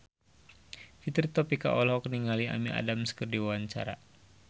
Fitri Tropika olohok ningali Amy Adams keur diwawancara